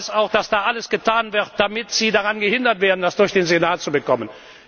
Und ich weiß auch, dass dort alles getan wird, damit Sie daran gehindert werden, das durch den Senat zu bekommen.